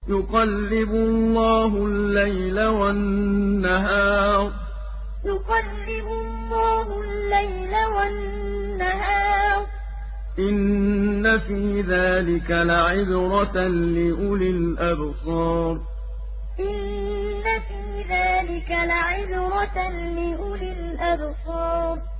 يُقَلِّبُ اللَّهُ اللَّيْلَ وَالنَّهَارَ ۚ إِنَّ فِي ذَٰلِكَ لَعِبْرَةً لِّأُولِي الْأَبْصَارِ يُقَلِّبُ اللَّهُ اللَّيْلَ وَالنَّهَارَ ۚ إِنَّ فِي ذَٰلِكَ لَعِبْرَةً لِّأُولِي الْأَبْصَارِ